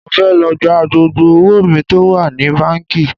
Mo fẹ́ lọ gba gbogbo owó mi tó wà ní báńkì